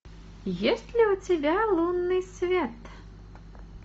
есть ли у тебя лунный свет